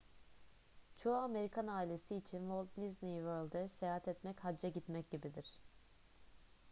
çoğu amerikan ailesi için walt disney world'e seyahat etmek hacca gitmek gibidir